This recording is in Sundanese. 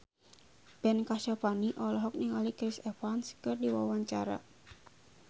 Ben Kasyafani olohok ningali Chris Evans keur diwawancara